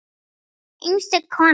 Einstök kona.